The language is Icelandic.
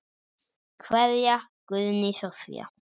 Kveðja, Guðný Soffía.